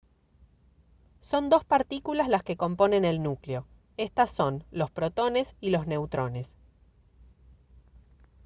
son dos partículas las que componen el núcleo estas son los protones y los neutrones